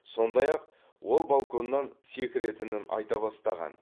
сондай ақ ол балконнан секіретінін айта бастаған